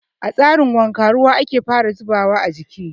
A tsarin wanka ruwa ake fara zubawa a jiki.